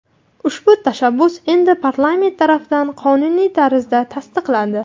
Ushbu tashabbus endi parlament tarafidan qonuniy tarzda tasdiqlandi.